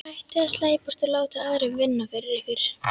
Hættið að slæpast og láta aðra vinna fyrir ykkur.